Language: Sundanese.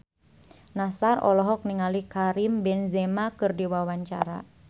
Nassar olohok ningali Karim Benzema keur diwawancara